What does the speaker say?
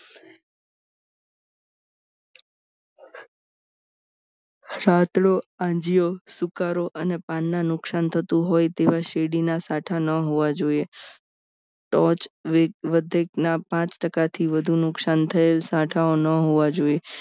છાતડો, આંજીયો, સુકારો અને પાનના નુકસાન થતું હોય તેવા શેરડીના સાઠા ન હોવા જોઈએ તો જ વધે ના પાંચ ટકાથી વધુ નુકસાન થયેલ સાઠા ઓ ન હોવા જોઈએ